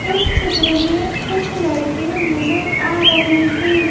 इस चित्र में कुछ लड़के नजर आ रहे हैं।